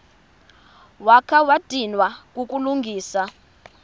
wakha wadinwa kukulungisa